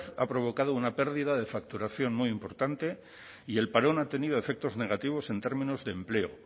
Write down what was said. ha provocado una pérdida de facturación muy importante y el parón ha tenido efectos negativos en términos de empleo